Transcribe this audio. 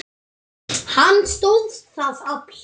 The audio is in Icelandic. Hann stóðst það afl.